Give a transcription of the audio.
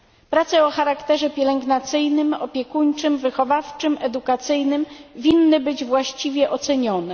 Prace o charakterze pielęgnacyjnym, opiekuńczym, wychowawczym, edukacyjnym winny być właściwie ocenione.